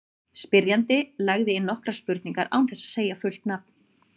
Spyrjandi lagði inn nokkrar spurningar án þess að segja fullt nafn.